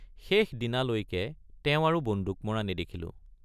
শেষদিনালৈকে তেওঁক আৰু বন্দুক মৰা নেদেখিলোঁ।